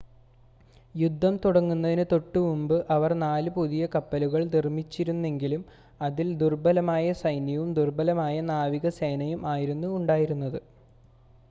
യുദ്ധം തുടങ്ങുന്നതിന് തൊട്ടുമുമ്പ് അവർ നാല് പുതിയ കപ്പലുകൾ നിർമ്മിച്ചിരുന്നെങ്കിലും അതിൽ ദുർബലമായ സൈന്യവും ദുർബലമായ നാവികസേനയും ആയിരുന്നു ഉണ്ടായിരുന്നത്